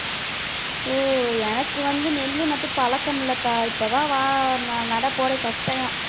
ஓ எனக்கு வந்து நெல்லு நட்டு பழக்கம் இல்லக்கா இப்பதான் வா~ ந~ நடப்போறேன் first time ஆ